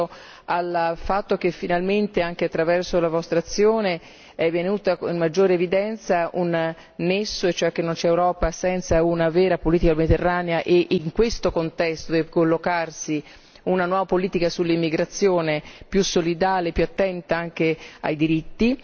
Penso al fatto che finalmente, anche attraverso la vostra azione, è stato posto in maggiore evidenza il fatto che non c'è Europa senza una vera politica mediterranea e in questo contesto deve collocarsi una nuova politica sull'immigrazione, che sia più solidale, più attenta ai diritti.